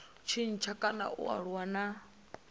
tshintsha kana a aluwa na